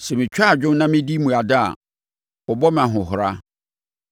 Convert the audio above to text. Sɛ metwa adwo na medi mmuada a wɔbɔ me ahohora;